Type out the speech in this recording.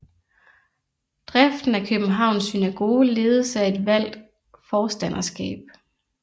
Driften af Københavns synagoge ledes af et valgt Forstanderskab